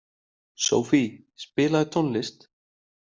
Sophie, spilaðu tónlist.